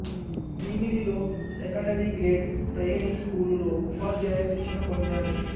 భీమిలిలో secondary grade training స్కూలులో ఉపాధ్యాయ శిక్షణ పొందాడు